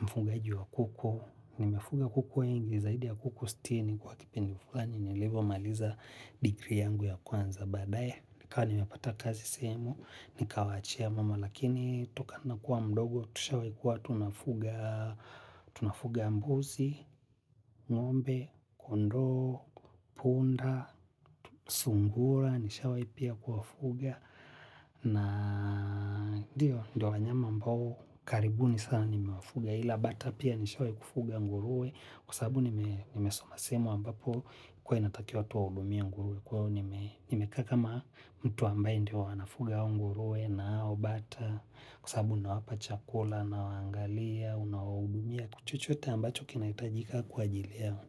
mfugaji wa kuku. Nimefuga kuku wengi, zaidi ya kuku sitini kwa kipindi fulani nilivomaliza degree yangu ya kwanza baadae. Nikawa nimepata kazi sehemu, nikawaachia mama, lakini tokana na kuwa mdogo, tushawai kuwa tunafuga mbuzi, ng'ombe, kondoo, punda, sungura, nishawai pia kuwafuga. Na dio, ndio wanyama ambao, karibuni sana nimewafuga ila, bata pia nishawai kufuga nguruwe, kwa sababu nimesoma sehemu ambapo ilikuwa inatakiwa tuwaudumia nguruwe. Kwa io nimekaa kama mtu ambaye ndio anafuga nguruwe na ao bata kwa sasabu ninawapa chakula nawaangalia, unawaudumia kwa chochote ambacho kinahitajika kwa ajili yao.